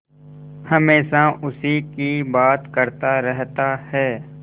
हमेशा उसी की बात करता रहता है